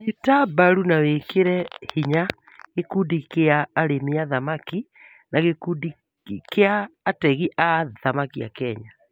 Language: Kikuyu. Nyita mbaru na wĩkĩre hinya gĩkundi cia arĩmi a thamaki na gĩkundi kia ategi a thamaki a Kenya